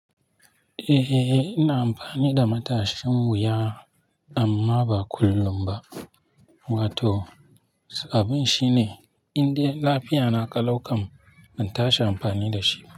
Eh, ina amfani da matashin wuya amma ba kullum ba. Wato sabbin shine in dai lafiyana ƙalau ƙam ban tashi amfani da shi.